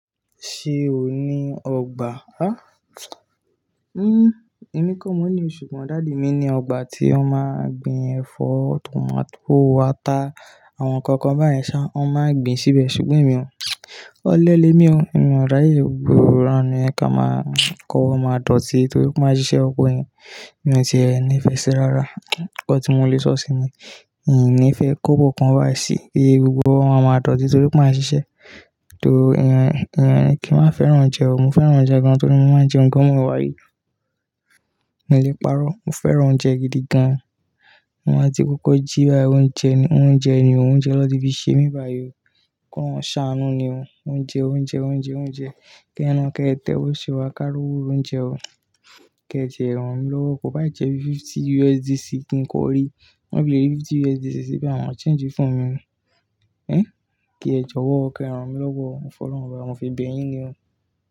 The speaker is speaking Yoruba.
Ṣé o ní ọgbà? Á, uhn èmi kò mọ̀ ní o, ṣùgbọ́n daddy mi ní ọgbà tí wọ́n máa ń gbin ẹ̀fọ́, tọmátó, ata àwọn nǹkan kan báyen ṣhá, wọ́n máa ń gbin síbẹ̀ ṣùgbọ́n èmi ò. Óle lè mi o, èmi ò ràye gbogbo iranu yẹn ka máa, kó owo máa dọ̀tí torí wọ́n máa ń ṣiṣẹ́, ọkọ yẹn, èmi o ti ẹ nife si rárá, ǹkan tí mo lè sọ sí ni. Ì nìfẹ́ kóbọ̀ kan báyìí si, e gbogbo owo máa dọ̀tí torí pé a n ṣiṣẹ́. To ẹn ẹn kí wa fẹ́ràn oúnjẹ o, mo fẹ́ràn oúnjẹ gan-an torí mo máa ń jẹ oúnjẹ gan bimó e wa yìí. Mo lè parọ́, mo fẹ́ràn oúnjẹ gidi gan-an. Ti n ba ti kókó jì báyìí oúnjẹ ni, oúnjẹ ni oúnjẹ lọ́nti fi ṣe mi bà yọ, kọ́ Ọlọ́run ṣáánú ni o. Oúnjẹ, oúnjẹ, oúnjẹ, oúnjẹ, kí ẹ ná, kí ẹ tẹ wò ṣiwá ká rówó oúnjẹ o. Ke ti e ranmilowo mi lọ́wọ́ kó bá jẹ bí fifty USDC kí n kó rí. Ti n ba fi lé rí fifty USDC sí báyìí ma change phone mi ni uhn, kí ẹ jọ̀wọ́ o kí e ranmilọ́wọ́, mo folọ́run obá mo fi bẹ̀ yín ni o.